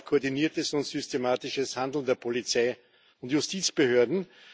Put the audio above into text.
Sie erlaubt koordiniertes und systematisches Handeln der Polizei und Justizbehörden.